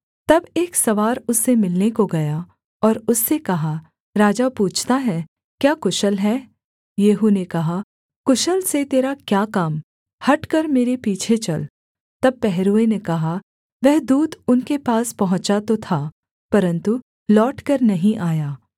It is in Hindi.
तब एक सवार उससे मिलने को गया और उससे कहा राजा पूछता है क्या कुशल है येहू ने कहा कुशल से तेरा क्या काम हटकर मेरे पीछे चल तब पहरुए ने कहा वह दूत उनके पास पहुँचा तो था परन्तु लौटकर नहीं आया